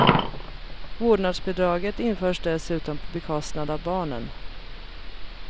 Vårdnadsbidraget införs dessutom på bekostnad av barnen.